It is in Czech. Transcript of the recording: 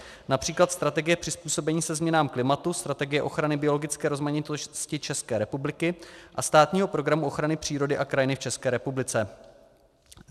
Například strategie přizpůsobení se změnám klimatu, strategie ochrany biologické rozmanitosti České republiky a Státního programu ochrany přírody a kraji v České republice.